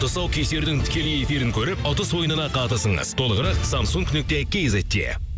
тұсаукесердің тікелей эфирін көріп ұтыс ойынына қатысыңыз толығырақ самсунг нүкте кизетте